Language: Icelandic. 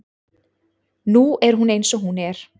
Nú er hún eins og hún er.